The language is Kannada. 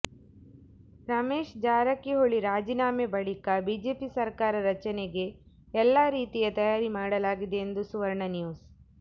ರಮೇಶ್ ಜಾರಕಿಹೊಳಿ ರಾಜೀನಾಮೆ ಬಳಿಕ ಬಿಜೆಪಿ ಸರ್ಕಾರ ರಚನೆಗೆ ಎಲ್ಲ ರೀತಿಯ ತಯಾರಿ ಮಾಡಲಾಗಿದೆ ಎಂದು ಸುವರ್ಣ ನ್ಯೂಸ್